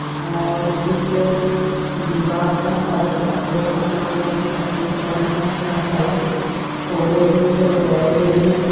और इस जो दिवार का कलर पथरो का बना हुआ है ये पत्थरो से बना हुआ है इसका कलर ऑरेंज और रेड में है।